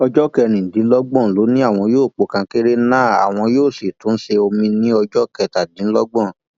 ọjọ kẹrìndínlọgbọn ló ní àwọn yóò po kankéré náà àwọn yóò sì tún ṣe omiín ní ọjọ kẹtàdínlọgbọn